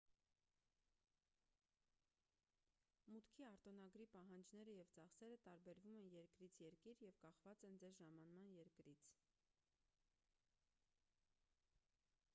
մուտքի արտոնագրի պահանջները և ծախսերը տարբերվում են երկրից երկիր և կախված են ձեր ժամանման երկրից